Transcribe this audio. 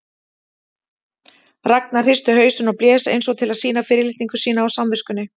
Ragnar hristi hausinn og blés eins og til að sýna fyrirlitningu sína á samviskunni.